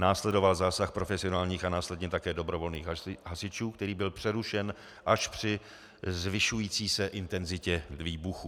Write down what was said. Následoval zásah profesionálních a následně také dobrovolných hasičů, který byl přerušen až při zvyšující se intenzitě výbuchů.